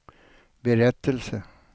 berättelse